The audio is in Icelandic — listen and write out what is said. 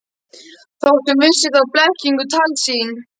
Þótt hún vissi þá blekkingu, tálsýn.